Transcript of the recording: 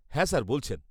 -হ্যাঁ স্যার বলছেন।